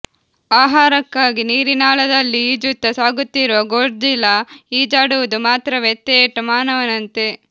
ಆಹಾರಕ್ಕಾಗಿ ನೀರಿನಾಳದಲ್ಲಿ ಈಜುತ್ತಾ ಸಾಗುತ್ತಿರುವ ಗೋಡ್ಜಿಲಾ ಈಜಾಡುವುದು ಮಾತ್ರವೇ ಥೇಟ್ ಮಾನವನಂತೆ